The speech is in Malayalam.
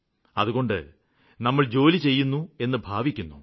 അതുകൊണ്ട് നമ്മള് ജോലി ചെയ്യുന്നുവെന്ന് ഭാവിക്കുന്നു